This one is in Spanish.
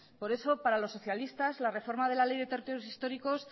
por eso para los socialistas la reforma de la ley de territorios históricos